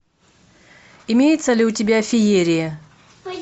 имеется ли у тебя феерия